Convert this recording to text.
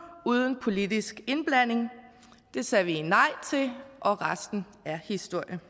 uden politisk indblanding det sagde vi nej til og resten er historie